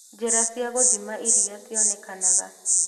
Njĩra cia gũthima iria cionekanaga